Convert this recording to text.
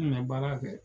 N kun bɛ baara kɛ